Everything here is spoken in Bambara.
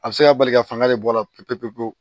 A bɛ se ka bali ka fanga de bɔ a la pewu-pewu-pewu